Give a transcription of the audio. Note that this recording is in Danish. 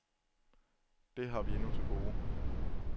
Det har vi endnu til gode.